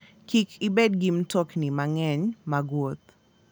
Kik ibed gi mtokni mang'eny mag wuoth.